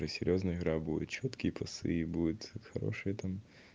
то серьёзная игра будет чёткие пасы и будет хорошее там